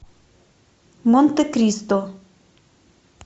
монте кристо